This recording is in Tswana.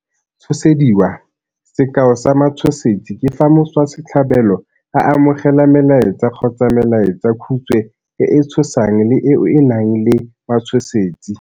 Tshosediwa. Sekao sa matshosetsi ke fa motswasetlhabelo a amogela melaetsa kgotsa melaetsakhutswe e e tshosang le eo e nang le matshosetsi.